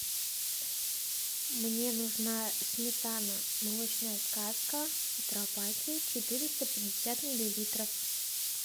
мне нужна сметана молочная сказка в тетрапаке четыреста пятьдесят миллилитров